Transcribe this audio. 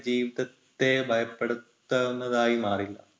ജീവിതത്തെ ഭയപ്പെടുത്താവുന്നതായി മാറില്ല.